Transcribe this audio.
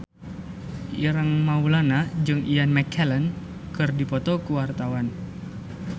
Ireng Maulana jeung Ian McKellen keur dipoto ku wartawan